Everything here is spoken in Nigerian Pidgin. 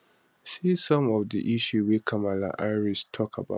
see some of di issues wey kamala harris tok about